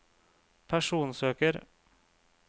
personsøker